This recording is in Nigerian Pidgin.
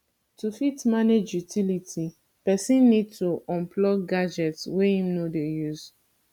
to fit manage utility person need to unplug gadgets wey im no dey use